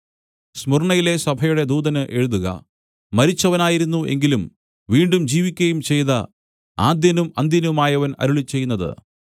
സ്മുർന്നയിലെ സഭയുടെ ദൂതന് എഴുതുക മരിച്ചവനായിരുന്നു എങ്കിലും വീണ്ടും ജീവിക്കയും ചെയ്ത ആദ്യനും അന്ത്യനുമായവൻ അരുളിച്ചെയ്യുന്നത്